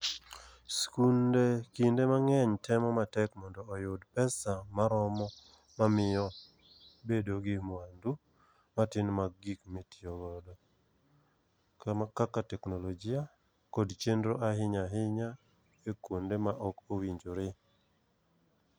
Skunde kinde mang'eny temo matek mondo oyud pesa maromo omiyo bedo gi mwandu matin mag gik motiyo godo konyo kaka teknolojia kod chenro ahinya e kuonde ma ok owinjore